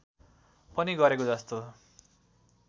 पनि गरेको जस्तो